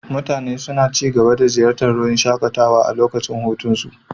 Mutane suna ci gaba da ziyartar wurin shakatawa a lokacin hutunsu.